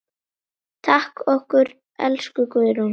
Takk fyrir okkur, elsku Guðrún.